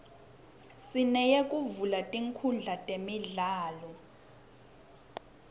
sineyekuvula tinkundla temidlalo